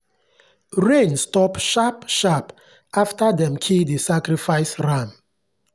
rain stop sharp-sharp after dem kill the sacrificial ram.